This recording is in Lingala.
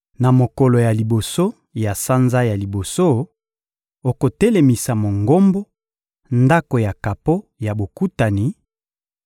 — Na mokolo ya liboso ya sanza ya liboso, okotelemisa Mongombo, Ndako ya kapo ya Bokutani;